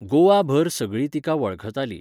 गोवा भर सगळीं तिका वळखताली.